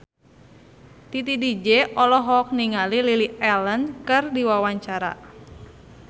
Titi DJ olohok ningali Lily Allen keur diwawancara